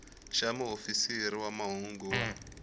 xa muofisiri wa mahungu wa